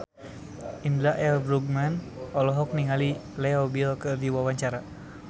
Indra L. Bruggman olohok ningali Leo Bill keur diwawancara